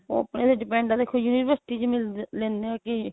ਉਹ ਆਪਣੇ ਤੇ depend ਆ ਦੇਖੋ university ਵਿੱਚ ਮਿਲਦੇ ਲੈਣੇ ਓ ਕੇ